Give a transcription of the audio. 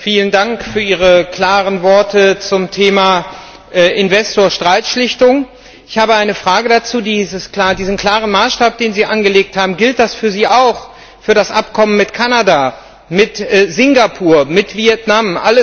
Vielen Dank für Ihre klaren Worte zum Thema Investorstreitschlichtung. Ich habe eine Frage dazu Dieser klare Maßstab, den Sie angelegt haben, gilt das für Sie auch für das Abkommen mit Kanada, mit Singapur, mit Vietnam?